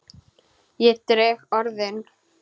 Ég dreg orðin.